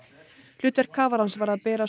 hlutverk kafarans var að bera